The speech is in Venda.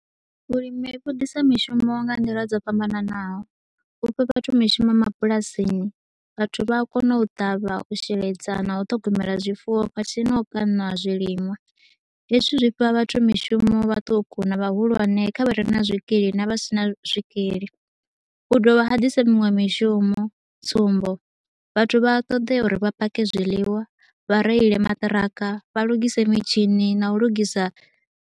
Vhulimi vhu disa mishumo nga nḓila dzo fhambananaho, u fha vhathu mishumo mabulasini. Vhathu vha a kona u ṱavha, u sheledza na u ṱhogomela zwifuwo khathihi na u kana zwiliṅwa. Hezwi zwi fha vhathu mishumo vhaṱuku na vhahulwane kha vha re na zwikili na vha si na zwikili. Hu dovha ha ḓisa miṅwe mishumo, tsumbo, Vhathu vha a ṱoḓea uri vha pake zwiḽiwa, vha reile maṱiraka, vha lungise mitshini na u lugisa.